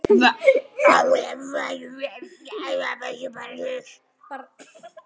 Vertu bara hress!